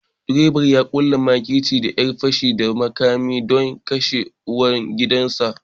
Direban ya ƙulla makirci da ƴan fashin da makami don kashe ubangidansa